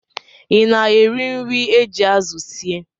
Ị na-eri nri e ji azụ sie